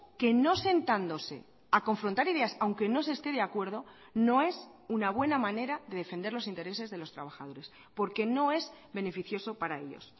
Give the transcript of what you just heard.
que no sentándose a confrontar ideas aunque no se esté de acuerdo no es una buena manera de defender los intereses de los trabajadores porque no es beneficioso para ellos